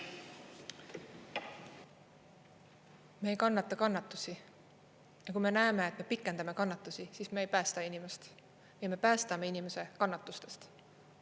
Me ei kannata kannatusi ja kui me näeme, et me pikendame kannatusi, siis me ei päästa inimest ja me päästame inimese kannatustest.